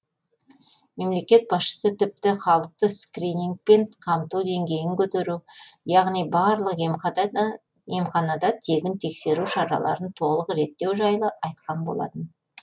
мемлекет басшысы тіпті халықты скринингпен қамту деңгейін көтеру яғни барлық емханада тегін тексеру шараларын толық реттеу жайлы айтқан болатын